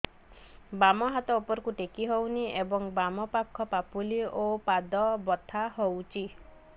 ବାମ ହାତ ଉପରକୁ ଟେକି ହଉନି ଏବଂ ବାମ ପାଖ ପାପୁଲି ଓ ପାଦ ବଥା ହଉଚି